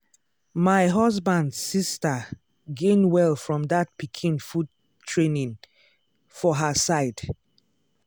my husband sister gain well from that pikin food training for her side.